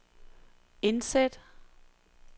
indsæt